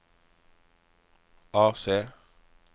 AC